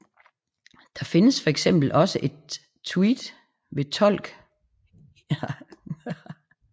Der findes for eksempel også et Tved ved Tolk i det sydlige Angel